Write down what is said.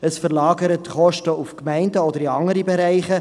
Es verlagert die Kosten auf die Gemeinden oder in andere Bereiche.